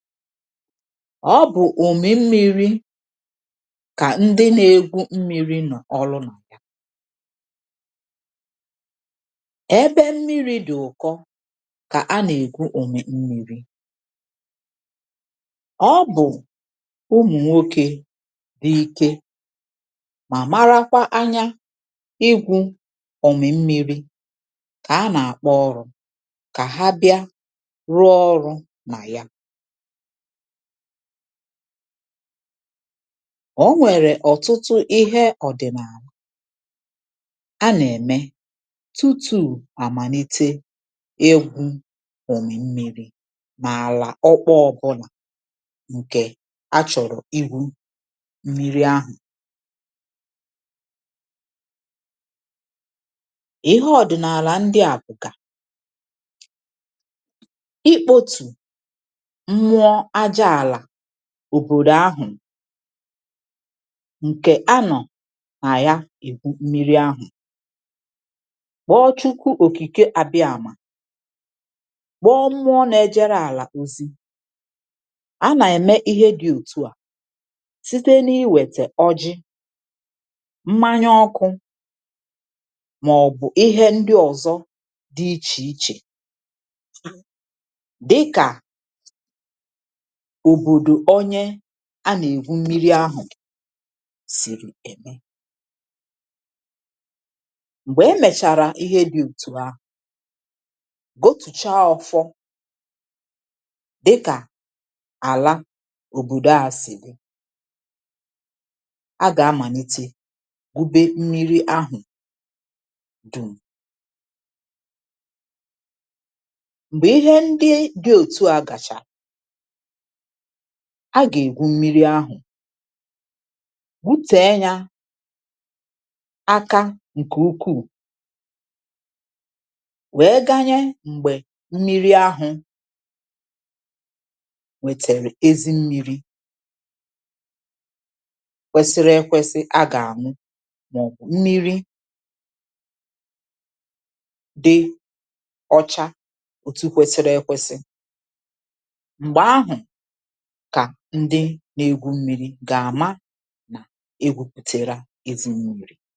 ọ bụ̀ ùme mmīrī, kà ndị na egwù mmīrī nọ̀ ọlụ nọ̀. ẹbẹ mmīrī dị̀ ụ̀kọ kà a nà ègwu ùmè mmīrī. ọ bụ̀ ụmụ̀nwokw dī ike, mà marakwa anya igwū òmì mmīrī kà a nà àkpọ ọrụ̄, kà ha bịa rụọ ọrụ̄ nà ya. ọ nwẹ̀rẹ̀ ọ̀tụtụ ịhẹ ọ̀dị̀nàlà a nà ẹ̀mẹ tutù àmàlite igwū òmì mmīrī, nà àlà ọkpọọ ọbụnà, ǹkẹ̀ a chọ̀rọ̀ igwū mmīrī ahụ̀. ịhẹ ndị ọ̀dị̀nàlà ndị à bụ̀gà: ikpōtù mmuọ aja àlà òbòdò ahụ̀, ǹkè a nọ̀ nà ya ègwu mmiri ahụ̀, kpọ Chukwu òkìke abịamà, kpọ mmụọ na ẹjẹrẹ àlà ozi. a nà ẹ̀mẹ ịhẹ dị òtụ à site nà ịwā ọjị, mmanya ọkụ, mà ọ̀ bụ̀ ịhẹ ndị ọzọ dị ichè ichè, dịkà òbòdò a nà ègwu mmiri ahụ̀ sì. m̀gbẹ̀ ẹ mẹ̀chàrà ịhẹ di ètù ahụ̀, wetùcha ọfọ, dịkà àla òbòdo ahụ̀ sìrì, a gà amàlite gwube mmiri ahụ̀ dùm. m̀gbè ịhẹ ndị dị otu à gàchà, a gà ègwu mmiri ahụ̀, gwutẹ̀ẹ ya aka ǹkẹ̀ ukù, wẹ ganyẹ ẹbẹ mmiri ahụ̄ nwẹ̀tẹ̀rẹ̀ ezi mmīrī kwẹsịrị ẹkwẹsị a gà àñụ, mà ọ̀ bụ̀ mmīrī dị ọcha, òtu kwẹsịrị ẹ kwẹsị. m̀gbẹ̀ ahụ̀ kà ndị na egwu mmīrī gà àma nà egwūpùtèrè ha ezi mmīrī.